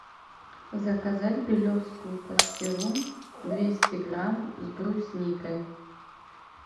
заказать белевскую пастилу двести грамм с брусникой